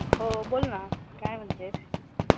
हो, बोल ना काय म्हणतेस?